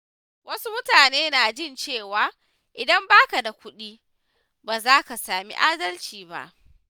Wasu mutane na jin cewa idan ba ka da kudi, baza ka sami adalci ba.